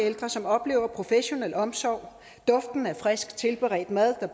ældre som oplever professionel omsorg duften af frisk tilberedt mad der